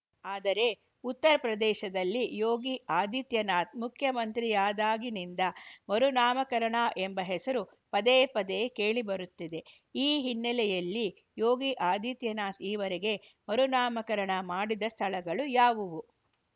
ಆದರೆ ಉತ್ತರಪ್ರದೇಶದಲ್ಲಿ ಯೋಗಿ ಆದಿತ್ಯನಾಥ್‌ ಮುಖ್ಯಮಂತ್ರಿಯಾದಾಗಿನಿಂದ ಮರುನಾಮಕರಣ ಎಂಬ ಹೆಸರು ಪದೇ ಪದೇ ಕೇಳಿಬರುತ್ತಿದೆ ಈ ಹಿನ್ನೆಲೆಯಲ್ಲಿ ಯೋಗಿ ಆದಿತ್ಯನಾಥ್‌ ಈವರೆಗೆ ಮರುನಾಮಕರಣ ಮಾಡಿದ ಸ್ಥಳಗಳು ಯಾವುವು